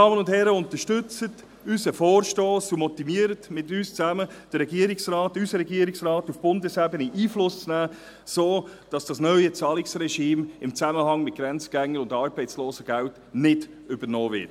Unterstützen Sie unseren Vorstoss und motivieren Sie mit uns zusammen den Regierungsrat, unseren Regierungsrat, auf Bundesebene Einfluss zu nehmen, damit das neue Zahlungsregime im Zusammenhang mit Grenzgängern und Arbeitslosengeldern nicht übernommen wird.